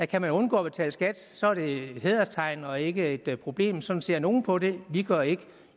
kan man undgå at betale skat så er det et hæderstegn og ikke et problem sådan ser nogle på det vi gør ikke